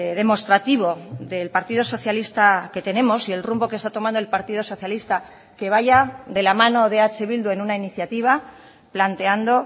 demostrativo del partido socialista que tenemos y el rumbo que está tomando el partido socialista que vaya de la mano de eh bildu en una iniciativa planteando